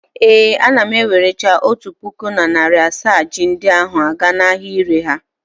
Ee, ana m ewerecha otu puku na narị asaa ji ndi ahụ aga n'ahịa ịre ha.